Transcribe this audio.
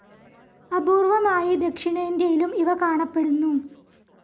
അപൂർവമായി ദക്ഷിണേന്ത്യയിലും ഇവ കാണപ്പെടുന്നു.